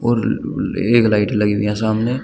एक लाइट लगी हुई है सामने।